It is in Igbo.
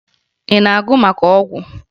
Ị na-agụ maka ọgwụ?